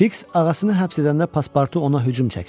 Fiks ağasını həbs edəndə pasportu ona hücum çəkmişdi.